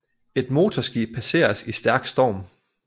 Et motorskib passeres i stærk storm